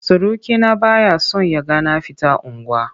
Surukina ba ya son ya ga na fita unguwa.